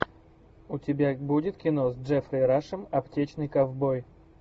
у тебя будет кино с джеффри рашем аптечный ковбой